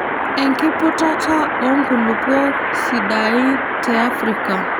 enkiputata oo nkulupuok sidain te Africa.